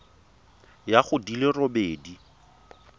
ya go di le robedi